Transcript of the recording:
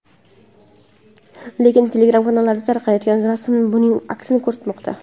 Lekin Telegram-kanallarda tarqayotgan rasmlar buning aksini ko‘rsatmoqda .